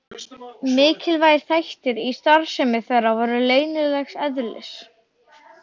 Mikilvægir þættir í starfsemi þeirra voru leynilegs eðlis.